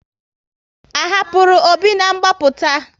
A hapụrụ Obi na ngbaputa